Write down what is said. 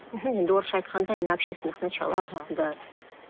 мхм енді орысша айтқанда на общественных началах аха да